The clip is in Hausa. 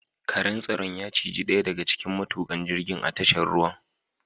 Karen tsaron ya ciji ɗaya daga cikin matukan jirgin a tashar ruwan.